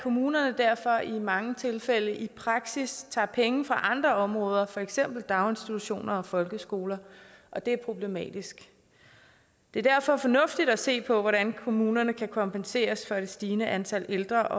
kommunerne derfor i mange tilfælde i praksis tager penge fra andre områder for eksempel daginstitutioner og folkeskoler og det er problematisk det er derfor fornuftigt at se på hvordan kommunerne kan kompenseres for med det stigende antal ældre